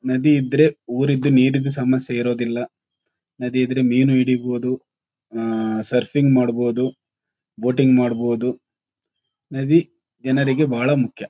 ನದಿ ಇದ್ರೆ ಊರಿದು ನೀರಿಂದು ಸಮಸ್ಯೆ ಇರುವುದಿಲ್ಲ ನದಿ ಇದ್ರೆ ಮೀನು ಹಿಡಿಬೋದು ಆಹ್ಹ್ ಸರ್ಫಿಂಗ್ ಮಾಡಬಹುದು ಬೋಟಿಂಗ್ ಮಾಡಬಹುದು ನದಿ ಜನರಿಗೆ ಬಹಳ ಮುಖ್ಯ.